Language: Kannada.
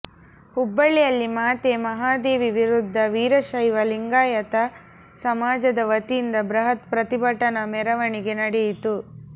ಹುಬ್ಬಳಿಯಲ್ಲಿ ಮಾತೆ ಮಹಾದೇವಿ ವಿರುದ್ಧ ವೀರಶೈವ ಲಿಂಗಾಯತ ಸಮಾಜದ ವತಿಯಿಂದ ಬೃಹತ್ ಪ್ರತಿಭಟನಾ ಮೆರವಣಿಗೆ ನಡೆಯಿತು